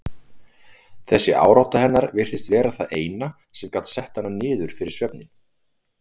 Þessi árátta hennar virtist vera það eina sem gat sett hana niður fyrir svefninn.